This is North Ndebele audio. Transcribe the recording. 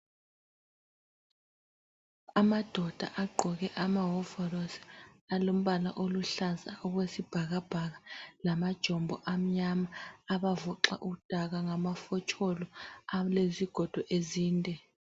Amadoda agqoke amawovorosi, alombala oluhlaza okwesibhakabhaka lamajombo amnyama abavoxa udaka ngamafotsholo alezigodo ezinde.